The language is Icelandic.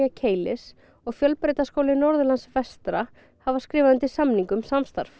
Keilis og Fjölbrautaskóli Norðurlands vestra hafa skrifað undir samning um samstarf